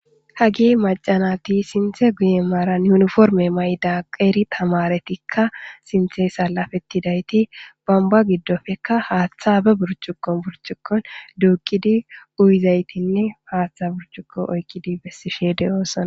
Hagi macanati sinthe guye maaran yuniforme mayda qeeri tamaretikka sinthe salafetidayti bamba giddofekka haaththa be burcukon burcukkon duukkidi uyizaytinne haaththa burcuko oykkidi bessishe de7oosana.